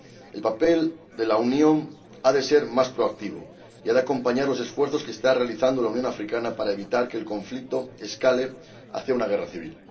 El papel de la Unión ha de ser más proactivo y ha de acompañar los esfuerzos que está realizando la Unión Africana para evitar que el conflicto escale hacia una guerra civil.